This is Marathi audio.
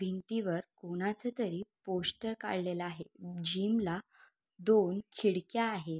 भिंतीवर कोणाच तरी पोस्टर काडलेल आहे जीम ला दोन खिडक्या आहेत.